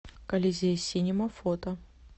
колизей синема фото